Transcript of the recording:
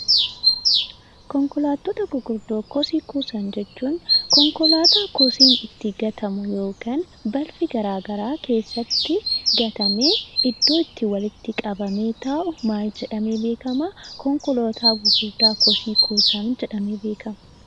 Konkolaattota gurguddoo kosii kuusan jechuun konkolaataa kosiin itti gatamu yookiin balfi garagaraa itti gatamee iddoo itti walitti qabamee taa'u konkolaataa gurguddaa kosii kuusan jedhamee beekama.